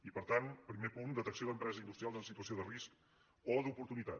i per tant primer punt detecció d’empreses industrials en situació de risc o d’oportuni·tat